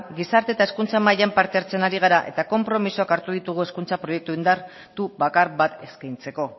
gizarte eta hezkuntza mailan parte hartzen ari gara eta konpromisoak hartu ditugu hezkuntza proiektu indartu bakar bat eskaintzeko